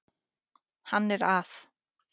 Hann er að